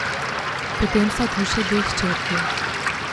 Potem sta tu še dve hčerki.